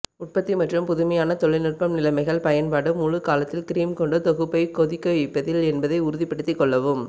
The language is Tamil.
உற்பத்தி மற்றும் புதுமையான தொழில்நுட்பம் நிலைமைகள் பயன்பாடு முழு காலத்தில் கிரீம் கொண்டு தொகுப்பைப் கொதிக்கவைப்பதில் என்பதை உறுதிப்படுத்திக் கொள்ளவும்